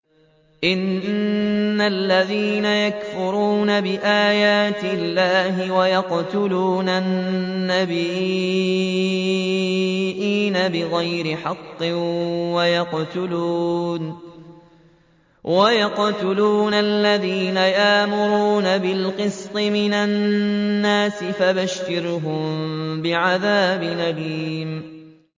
إِنَّ الَّذِينَ يَكْفُرُونَ بِآيَاتِ اللَّهِ وَيَقْتُلُونَ النَّبِيِّينَ بِغَيْرِ حَقٍّ وَيَقْتُلُونَ الَّذِينَ يَأْمُرُونَ بِالْقِسْطِ مِنَ النَّاسِ فَبَشِّرْهُم بِعَذَابٍ أَلِيمٍ